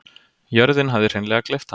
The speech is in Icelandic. Jörðin hafði hreinlega gleypt hana.